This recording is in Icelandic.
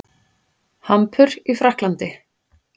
Hampur í Frakklandi.